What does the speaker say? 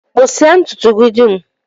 Kpụsịa ntụtụ gị dum!